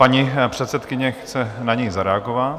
Paní předsedkyně chce na něj zareagovat.